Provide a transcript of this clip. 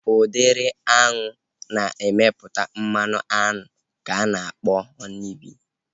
Udịri aṅụ na-emepụta mmanụ aṅụ ka ana akpọ Họni bii